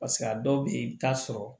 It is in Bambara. Paseke a dɔw bɛ yen i bɛ t'a sɔrɔ